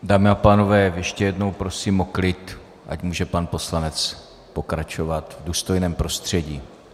Dámy a pánové, ještě jednou prosím o klid, ať může pan poslanec pokračovat v důstojném prostředí.